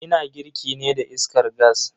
Ina girki ne da iskar gas.